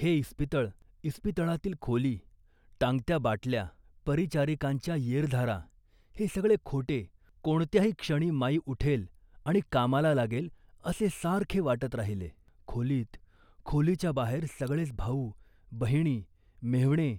हे इस्पितळ, इस्पितळातील खोली, टांगत्या बाटल्या, परिचारिकांच्या येरझारा हे सगळे खोटे, कोणत्याही क्षणी माई उठेल आणि कामाला लागेल असे सारखे वाटत राहिले खोलीत, खोलीच्या बाहेर सगळेच भाऊ, बहिणी, मेव्हणे,